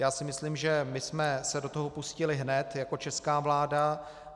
Já si myslím, že my jsme se do toho pustili hned jako česká vláda.